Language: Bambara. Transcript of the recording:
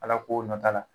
Ala ko nɔ t'a la